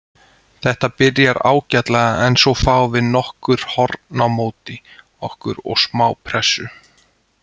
Þetta byrjar ágætlega en svo fáum við nokkur horn á móti okkur og smá pressu.